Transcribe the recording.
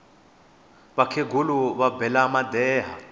vakhegula va bela madeha